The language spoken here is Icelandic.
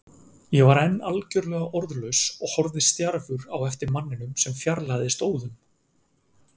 Ég var enn algjörlega orðlaus og horfði stjarfur á eftir manninum sem fjarlægðist óðum.